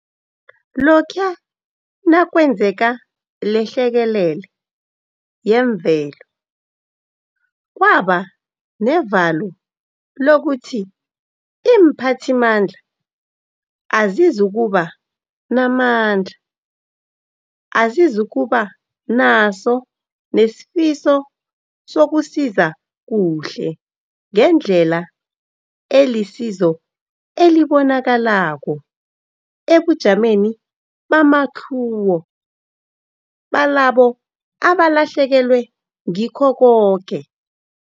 Lokhuya nakwenzeka lehlekelele yemvelo, kwaba nevalo lokuthi iimphathimandla azizukuba namandla, azizukuba naso nesifiso sokusiza kuhle ngendlela elisizo elibonakalako ebujameni bamatlhuwo balabo abalahlekelwe ngikho koke.